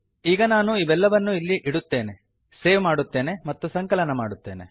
ಈಗ ನಾನು ಇವೆಲ್ಲವನ್ನೂ ಇಲ್ಲಿ ಇಡುತ್ತೇನೆ ಸೇವ್ ಮಾಡುತ್ತೇನೆ ಮತ್ತು ಸಂಕಲನ ಮಾಡುತ್ತೇನೆ